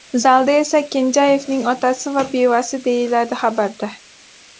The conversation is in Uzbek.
Zalda esa Kenjayevning otasi va bevasi”, deyiladi xabarda.